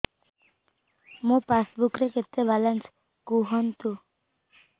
ମୋ ପାସବୁକ୍ ରେ କେତେ ବାଲାନ୍ସ କୁହନ୍ତୁ